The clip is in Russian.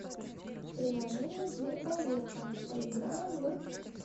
приложение сберпроверка поиграем в